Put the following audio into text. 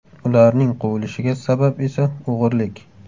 Ularning quvilishiga sabab esa o‘g‘irlik.